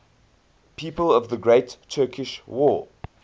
people of the great turkish war